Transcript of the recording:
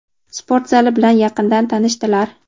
sport zali bilan yaqindan tanishdilar.